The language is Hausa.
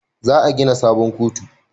Za a gina sabon kotu